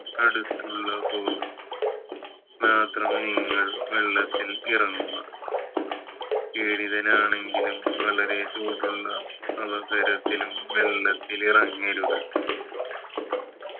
അടുത്തുള്ളപ്പോൾ മാത്രമേ നിങ്ങൾ വെള്ളത്തിൽ ഇറങ്ങുക വനാണെങ്കിലും വളരെ ചൂടുള്ള അവസരത്തിലും വെള്ളത്തിൽ ഇറങ്ങരുത്